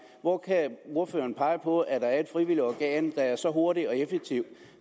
hvor kan ordføreren pege på at der er et frivilligt organ der er så hurtigt og effektivt